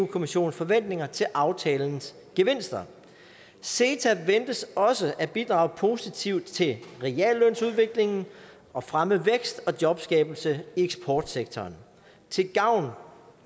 kommissionens forventninger til aftalens gevinster ceta ventes også at bidrage positivt til reallønsudviklingen og fremme vækst og jobskabelse i eksportsektoren til gavn for